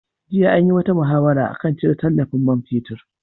Jiya an yi wata muhawara a kan cire tallafin man fetur.